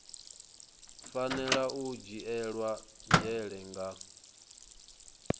fanela u dzhielwa nzhele nga